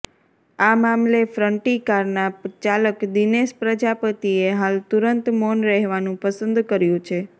આ મામલે ફ્રન્ટી કારના ચાલક દિનેશ પ્રજાપતિએ હાલ તુંરત મૌન રહેવાનું પસંદ કર્યુ છે